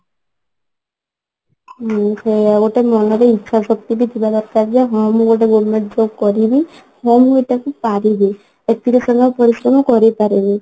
ହୁଁ ସେଇଆ ଗୋଟେ ମନରେ ଇଛା ଶକ୍ତିବି ଥିବା ଦରକାର ଯେ କି ହଁ ମୁଁ ଗୋଟେ government job କରିବି ହଁ ମୁଁ ଏଟାକୁ ପାରିବି ଏଥିରେ ଆଉ ପରିଶ୍ରମ କରିପାରିବି